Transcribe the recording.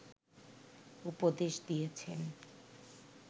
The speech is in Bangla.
উপদেশ দিয়েছেন